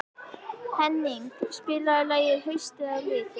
Henning, spilaðu lagið „Haustið á liti“.